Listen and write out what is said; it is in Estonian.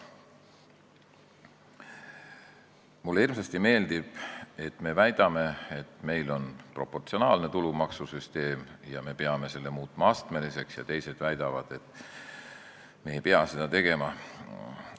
Mulle hirmsasti meeldib, kui väidetakse, et meil on proportsionaalne tulumaksusüsteem ja me peame muutma selle astmeliseks, ja teised väidavad, et me ei pea seda tegema.